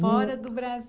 Fora do Brasil.